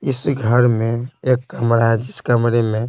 इस घर में एक कमरा है जिस कमरे में--